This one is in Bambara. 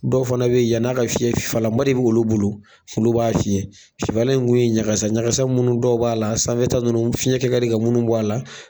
Dɔw fana be yen yan'a ka fiɲɛ fifalama de bi k'olu bolo, olu b'a fiyɛ fifala in kun ye ɲakasa ɲakasa munnu dɔw b'a la, a sanfɛ ta nunnu fiɲɛ kɛ ka di ka munnu bɔ a la